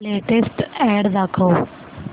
latest ad दाखव